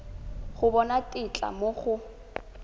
go bona tetla mo go